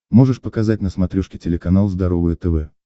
можешь показать на смотрешке телеканал здоровое тв